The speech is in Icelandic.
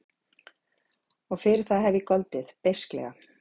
Og fyrir það hef ég goldið beisklega.